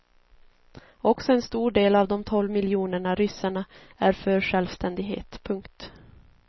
Också en stor del av de tolv miljonerna ryssarna är för självständighet. punkt